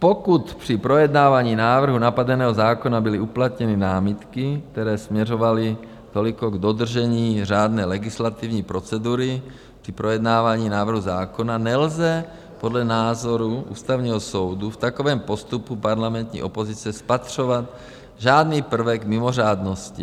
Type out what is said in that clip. Pokud při projednávání návrhu napadeného zákona byly uplatněny námitky, které směřovaly toliko k dodržení řádné legislativní procedury při projednávání návrhu zákona, nelze podle názoru Ústavního soudu v takovém postupu parlamentní opozice spatřovat žádný prvek mimořádnosti.